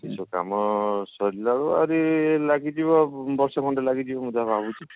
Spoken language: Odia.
ସେ କାମ ସରିଲା ରୁ ଆହୁରି ଲାଗିଯିବ ବର୍ଷେ ଖଣ୍ଡେ ଲାଗିଯିବ ମୁଁ ଯାହା ଭାବୁଛି